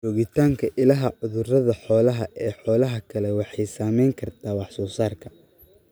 Joogitaanka ilaha cudurrada xoolaha ee xoolaha kale waxay saameyn kartaa wax soo saarka.